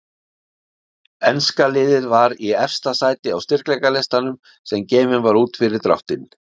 Enska liðið var í efsta sæti á styrkleikalistanum sem gefinn var út fyrir dráttinn.